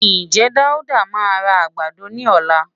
Ǹjẹ́ Dáúdá máa ra àgbàdo ní ọ̀la?